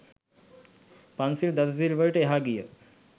පන්සිල් දස සිල් වලට එහා ගිය